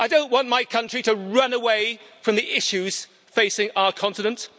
I don't want my country to run away from the issues facing our continent.